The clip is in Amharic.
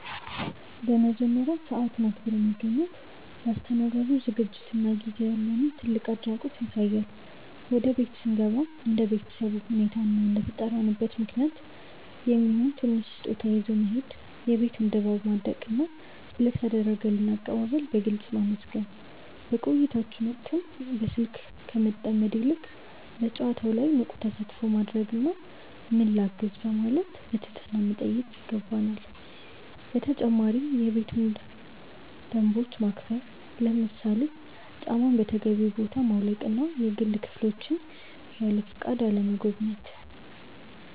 በመጀመሪያ፣ ሰዓትን አክብሮ መገኘት ለአስተናጋጁ ዝግጅትና ጊዜ ያለንን ትልቅ አድናቆት ያሳያል። ወደ ቤት ስንገባም እንደ ቤተሰቡ ሁኔታ እና እንደተጠራንበት ምክንያት የሚሆን ትንሽ ስጦታ ይዞ መሄድ፣ የቤቱን ድባብ ማድነቅና ስለ ተደረገልን አቀባበል በግልጽ ማመስገን። በቆይታችን ወቅትም በስልክ ከመጠመድ ይልቅ በጨዋታው ላይ ንቁ ተሳትፎ ማድረግና "ምን ላግዝ?" በማለት ትህትናን ማሳየት ይገባል። በተጨማሪም የቤቱን ደንቦች ማክበር፣ ለምሳሌ ጫማን በተገቢው ቦታ ማውለቅና የግል ክፍሎችን ያለፈቃድ አለመጎብኘት።